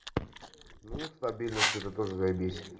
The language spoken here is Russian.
ну стабильность это тоже заебись